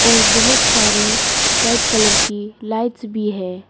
और बहुत सारी व्हाइट कलर की लाइट्स भी है।